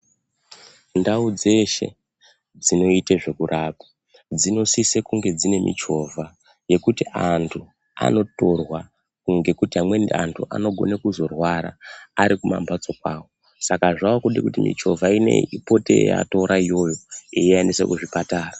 Ndau dzeshe dzinoita zvekurapa dzinosise kune dzine michovha yekuti antu anotorwa ngekuti amweni antu anogona kuzorwara arikumambatso kwavo. Saka zvakude kuti michovha iyoyo ipote yeiatora yeiaendesa kuzvipatara.